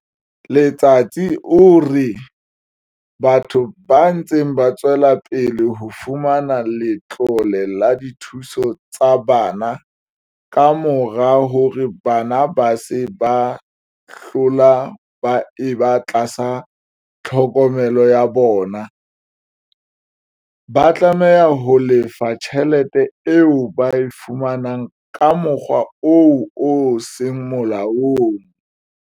Letsatsi o re batho ba ntseng ba tswela pele ho fumana letlole la dithuso tsa bana kamora hore bana ba se ba hlola ba eba tlasa tlhokomelo ya bona, ba tla tlameha ho lefa tjhelete eo ba e fumaneng ka mokgwa oo o seng molaong.